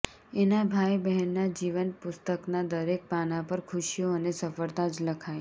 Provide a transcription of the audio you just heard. એના ભાઈ બહેનના જીવનપુસ્તકના દરેક પાના પર ખુશીઓ અને સફળતા જ લખાય